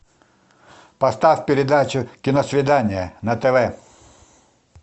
поставь передачу киносвидание на тв